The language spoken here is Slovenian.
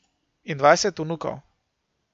In dvajset vnukov.